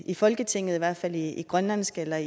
i folketinget i hvert fald ikke i grønlandsk eller